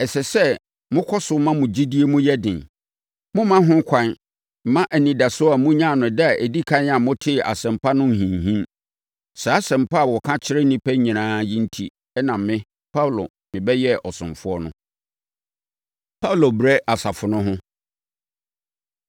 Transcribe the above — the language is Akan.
Ɛsɛ sɛ mokɔ so ma mo gyidie mu yɛ den. Mommma ho kwan mma mo anidasoɔ a monyaa no da a ɛdi ɛkan a motee Asɛmpa no nhinhim. Saa Asɛmpa a wɔka kyerɛ nnipa nyinaa yi enti na me, Paulo, mebɛyɛɛ ɔsomfoɔ no. Paulo Brɛ Asafo No Ho